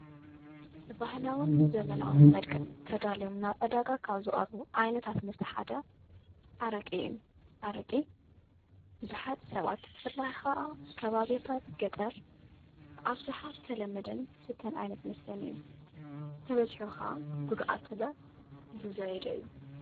ብበህላዎን ብዘመናውን መድቀ ተዳልዮም ናብ ዕዳጋ ካብ ዞቐርቡ ዓይነታት መስተሓደ ኣረቂ እዩ ኣረቂ ብዙኃጥ ሰባት ትፍላይኻ ከባብታት ገጠር ብዓብሰሓ ተለመደን ሥተን ኣይነት መስተን እዩ ተበጺሒኻ ጕዱኣተለ ዝዛይደ እዩ።